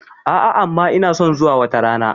A'a amma ina son zuwa wata rana.